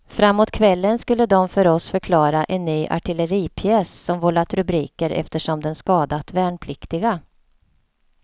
Framåt kvällen skulle de för oss förklara en ny artilleripjäs som vållat rubriker eftersom den skadat värnpliktiga.